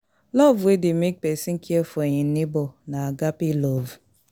Love wey de make persin care for im neighbor na agape love